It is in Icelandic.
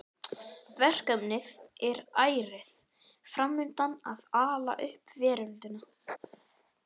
Verkefnið er ærið fram undan að ala upp veröldina.